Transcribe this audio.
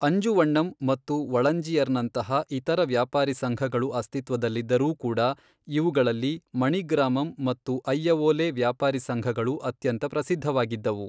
ಅಂಜುವಣ್ಣಮ್ ಮತ್ತು ವಳಂಜಿಯರ್ನಂತಹ ಇತರ ವ್ಯಾಪಾರಿ ಸಂಘಗಳು ಅಸ್ತಿತ್ವದಲ್ಲಿದ್ದರೂ ಕೂಡ, ಇವುಗಳಲ್ಲಿ ಮಣಿಗ್ರಾಮಮ್ ಮತ್ತು ಅಯ್ಯವೋಲೆ ವ್ಯಾಪಾರಿ ಸಂಘಗಳು ಅತ್ಯಂತ ಪ್ರಸಿದ್ಧವಾಗಿದ್ದವು.